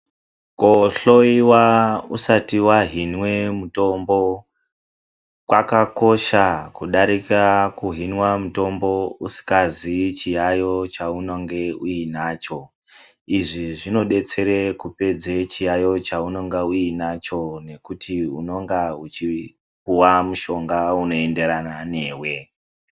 Kohloiwa usati wazvinwe mitombo kwakakosha kudarika kuzvinwe mitombo usikazivi chiyaiyo chaunenge weizwa .Izvi zvinodetsere kupedza chiyaiyo chaunenge unacho ngokuti unenge uchipuwa mushonga unoenderana newe.